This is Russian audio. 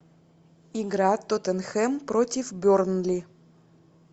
игра тоттенхэм против бернли